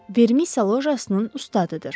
Vermisiya lojasının ustadıdır.